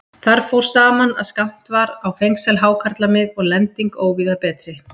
Þar fór saman, að skammt var á fengsæl hákarlamið og lending óvíða betri.